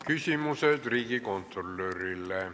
Küsimused riigikontrolörile.